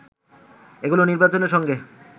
এগুলো নির্বাচনের সঙ্গে